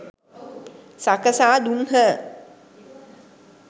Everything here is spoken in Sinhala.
සකසා දුන්හ.